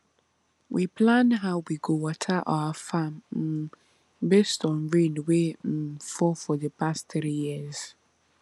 we plan how we go water our farm um based on rain wey um fall for di past three years